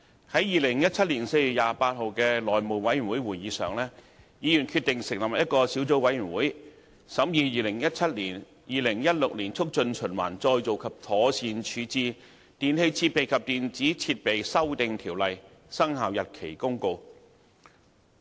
在2017年4月28日的內務委員會會議上，議員決定成立一個小組委員會，審議《2017年〈2016年促進循環再造及妥善處置條例〉公告》。